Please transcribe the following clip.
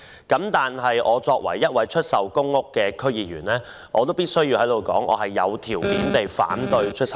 但作為一位區議員，我必須在此表示，我有條件地反對出售公屋。